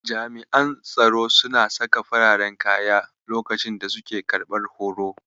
Jami'an tsaro suna saka fararen kaya lokacin da suke karɓar horo.